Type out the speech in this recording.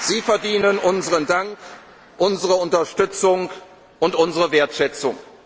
wäre. Sie verdienen unseren Dank, unsere Unterstützung und unsere Wertschätzung!